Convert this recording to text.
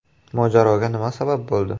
Mojaroga nima sabab bo‘ldi?